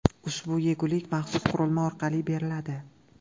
Ushbu yegulik maxsus qurilma orqali beriladi.